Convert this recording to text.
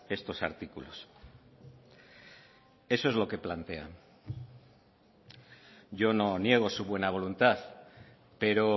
estos artículos eso es lo que plantean yo no niego su buena voluntad pero